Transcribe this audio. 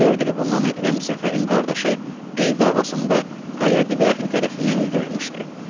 Dörd il bundan aqdəm Səfərin qardaşı el davasında qayadibi əhli tərəfindən öldürülmüşdü.